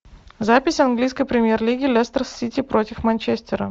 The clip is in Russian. запись английской премьер лиги лестер сити против манчестера